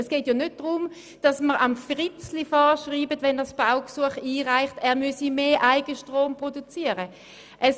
Es geht nicht darum, dass wir Fritzli vorschreiben, er müsse mehr Eigenstrom produzieren, wenn er ein Baugesuch einreicht.